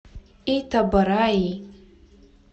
итабораи